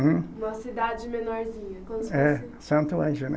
Hum? Uma cidade menorzinha, como se fosse. É, Santo Ângelo, né